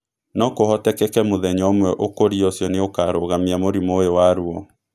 No kũhotekeke mũthenya ũmwe ũkũria ũcio nĩ ũkarũgamia mũrimũ ũyũ wa ruo.